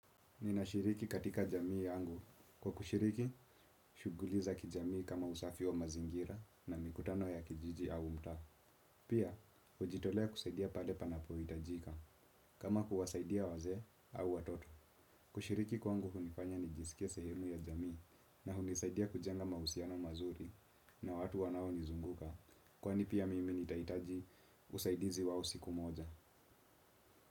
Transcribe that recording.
Ninashiriki katika jamii yangu. Kwa kushiriki, shughuli za kijamii kama usafi wa mazingira na mikutano ya kijiji au mtaa. Pia, hujitolea kusaidia pale panapo hitajika. Kama kuwasaidia wazee au watoto. Kushiriki kwangu hunifanya nijisikie sehemu ya jamii na hunisaidia kujenga mahusiano mazuri na watu wanao nizunguka. Kwani pia mimi nitahitaji usaidizi wao siku moja.